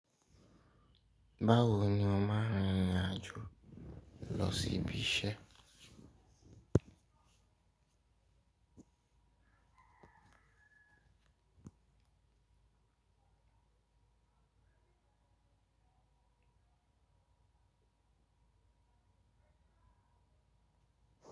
Báwo ni ó máa ń rin ìrìn àjò lọ sí ibi iṣẹ́?